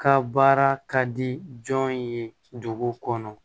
Ka baara ka di jɔn ye dugu kɔnɔ